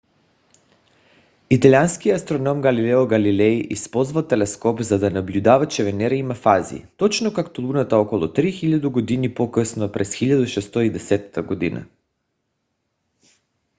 италианският астроном галилео галилей използвал телескоп за да наблюдава че венера има фази точно както луната около 3000 години по - късно през 1610 г